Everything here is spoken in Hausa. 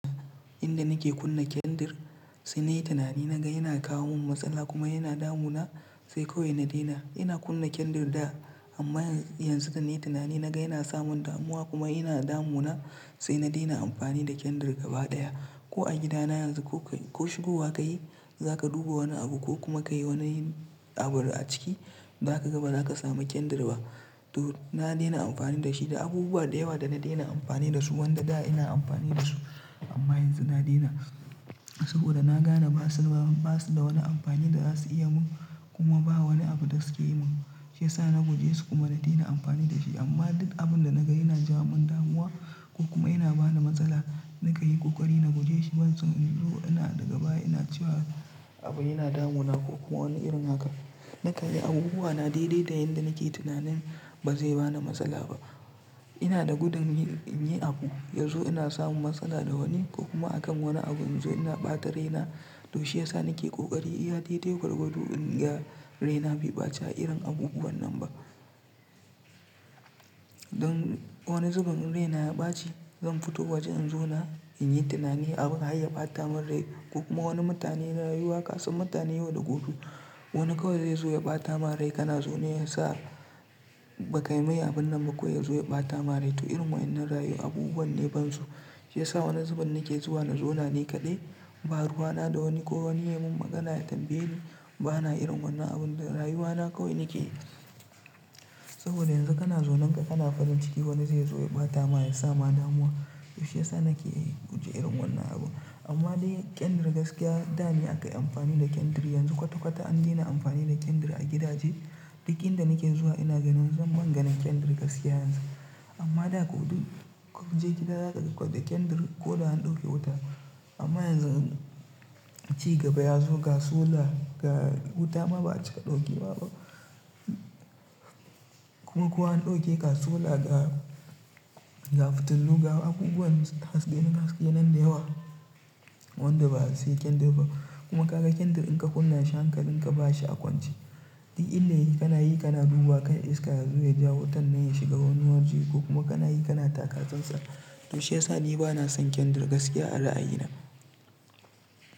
Inda nike kunna kendir, sai nayi tunani, naga yana kawo min matsala kuma yana damuna sai kawai na daina. Ina kunna kendir da, amma yanzu da nayi tunani naga yana samin damuwa kuma yana damuna, sai na daina amfani da kendir gabaɗaya. Ko a gida na yanzu, ko shigowa kayi zaka duba wani abu ko kuma kayi wani abu a ciki, ba za kaga ba za ka ga kendir ba to na daina amfani da shi da abubuwa da yawa da na daina amfani da su wanda da ina amfani da su. Amma yanzu na daina, saboda na gane ba su, ba su da wani amfani da za su iya mun kuma ba wani abu da suke yi mun, shi yasa na guje su kuma na daina amfani da shi. Amma duk abun da naga yana jawo mun damuwa ko kuma yana bani matsala, na kan yi kokari na guje shi. Ban so in zo ina daga baya ina cewa abu yana damuna ko kuma wani irin haka. Na kan yi abubuwa na daidai da yadda nake tunanin ba zai bani matsala ba. Ina da gudun yin, yin abu, ya zo ina samun matsala da wani ko kuma a kan wani abu, in zo ina ɓata raina. To shi yasa nake ƙoƙari iya daidai gwargwado in ga raina bai ɓaci a irin abubuwan nan ba. Don wani zubin in raina ya ɓaci, zan fito waje in zona, in yi tunani abin hayya ɓata min rai ko kuma wani mutane na rayuwa kasan mutane yau da gobe. Wani kawai zai zo ya ɓata ma rai kana zone ya sa ba ka yi mai abun nan ba kawai ya zo ya ɓata ma rai. To irin wa'innan rayu abubuwan ne ban so. Shi yasa wani zuben nake zuwa na zona ni kadai, ba ruwana da wani ko wani ya mun magana ya tambaye ni, bana irin wannan abun da rayuwana kawai nake. Saboda yanzu kana zaunen ka, kana farin ciki, wani zai zo ya bata ma, ya sa ma damuwa to shi yasa nake guje irin wannan abu. Amma dai kendir gaskiya da ne aka yi amfani da kendir, yanzu kwata-kwata an daina amfani da kendir a gidaje. Duk inda nake zuwa ina ganin, sam ban ganin kendir yanzun amma da ko duk, kun je gida za ka ga ƙwal da kendir ko da an ɗauke wuta. Amma yanzu ci gaba ya zo ga solar, ga wuta ma ba'a cika daukewa ba kuma ko an ɗauke ga solar ga, ga fitilu ga abubuwan haske, haske nan da yawa. Wanda ba sai kendir ba, kuma ka ga kendir in ka kunna shi hankalin ka bashi akwanci. Duk illayi kana yi kana duba kar iska ya zo ya ja wutan nan ya shiga wani waje ko kuma kana yi kana taka tsantsan. To shi yasa ni bana son kendir gaskiya a ra'ayi na.